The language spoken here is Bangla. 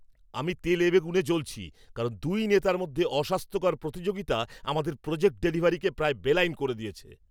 আমি তেলেবেগুনে জ্বলছি কারণ দুই নেতার মধ্যে অস্বাস্থ্যকর প্রতিযোগিতা আমাদের প্রোজেক্ট ডেলিভারিকে প্রায় বেলাইন করে দিয়েছে।